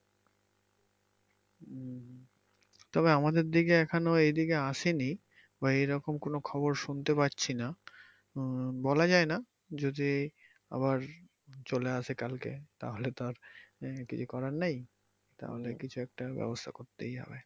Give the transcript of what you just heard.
তবে আমাদের দিকে এখন এই দিকে আসেনি বা এইরকম কোন খবর শুনতে পাচ্ছি না উম বলা যায় না যদি আবার চলে আসে কালকে তাহলে তো আর আহ কিছু করার নেই তাহলে কিছু একটা ব্যাবস্থা করতেই হবে।